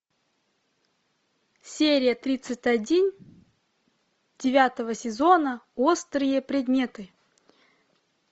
серия тридцать один девятого сезона острые предметы